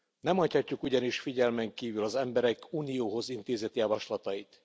Nem hagyhatjuk ugyanis figyelmen kívül az emberek Unióhoz intézett javaslatait.